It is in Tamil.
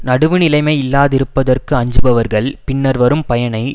நடுவு நிலைமை இல்லாதிருப்பதற்கு அஞ்சுபவர்கள் பின்னர் வரும் பயனை